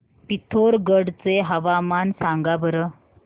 पिथोरगढ चे हवामान सांगा बरं